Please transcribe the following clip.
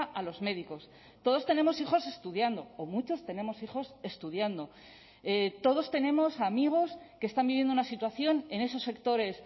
a los médicos todos tenemos hijos estudiando o muchos tenemos hijos estudiando todos tenemos amigos que están viviendo una situación en esos sectores